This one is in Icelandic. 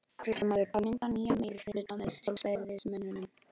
Fréttamaður:. að mynda nýjan meirihluta með Sjálfstæðismönnum?